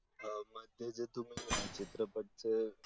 चित्रपट ते